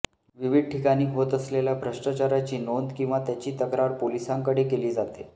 विविध ठिकाणी होत असलेल्या भ्रष्टाचाराची नोंद किंवा त्याची तक्रार पोलिसांकडे केली जाते